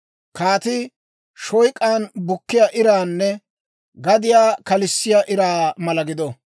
Kaatii shoyk'an bukkiyaa iraanne gadiyaa kalissiyaa iraa mala gido.